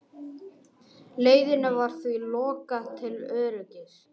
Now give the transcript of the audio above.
Leiðinni var því lokað til öryggis